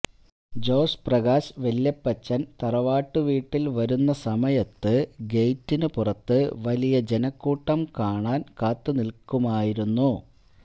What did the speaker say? ജോസ് പ്രകാശ് വല്യപ്പച്ചൻ തറവാട്ടു വീട്ടിൽ വരുന്ന സമയത്ത് ഗേറ്റിനു പുറത്ത് വലിയ ജനക്കൂട്ടം കാണാൻ കാത്തുനിൽക്കുമായിരുന്നു